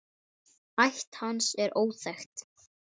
Ætt hans er óþekkt.